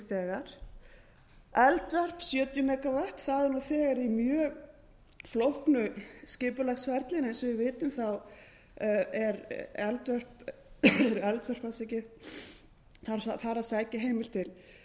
þegar eldvörp sjötíu megavatt það er nú þegar í mjög flóknu skipulagsferli en eins og við vitum eru eldvörp þar að sækja heim til grindavíkurbæjar